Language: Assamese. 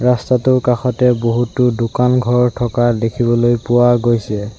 ৰাস্তাটোৰ কাষতে বহুতো দোকান ঘৰ থকা দেখিবলৈ পোৱা গৈছে।